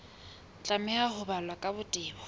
tlameha ho balwa ka botebo